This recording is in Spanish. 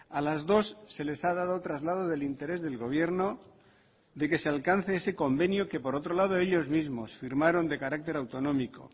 a las dos se les ha dado traslado del interés del gobierno de que se alcance ese convenio que por otro lado ellos mismos firmaron de carácter autonómico